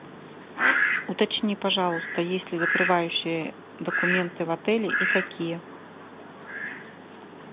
уточни пожалуйста есть ли закрывающие документы в отеле и какие